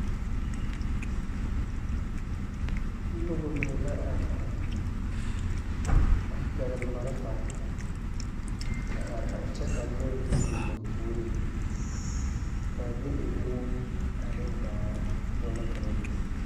Noba mine la are are a pɛgle malfare a are are kyɛ ka loɛ meŋ biŋ ba puoriŋ ka be e moɔ ane daare poɔ la ka ba be.